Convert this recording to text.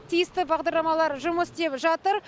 тиісті бағдарламалар жұмыс істеп жатыр